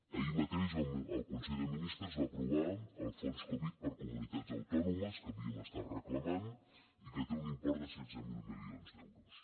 ahir mateix el consell de ministres va aprovar el fons covid per a comunitats autònomes que havíem estat reclamant i que té un import de setze mil milions d’euros